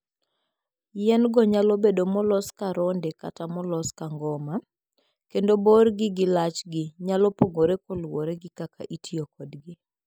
Yien-go nyalo bedo molos ka ronde kata molos ka ngoma, kendo borgi gi lachgi nyalo pogore kaluwore gi kaka itiyo kodgi.